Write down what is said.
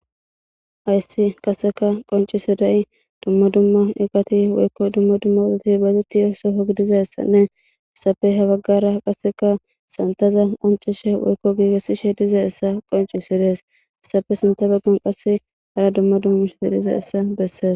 ayssi qasseka qoncisi dayi dumma dumma eqati woykko dumma dumma odhati baduti yo soko gidizassanne essafe habaggara qasseka santaza onxishe woykko giigesishe diza essa qonci sidees essafe sinta baggan qasse hara dumma dummu she didhiza essa besses